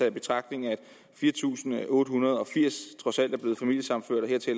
i betragtning at fire tusind otte hundrede og firs trods alt